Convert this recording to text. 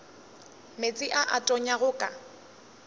meetse a a tonyago ka